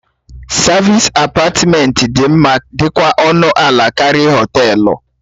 Savịs apatmentị dị mma dikwa ọnụ ala karịa họtelu.